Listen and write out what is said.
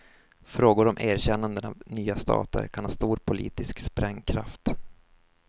Frågor om erkännanden av nya stater kan ha stor politisk sprängkraft.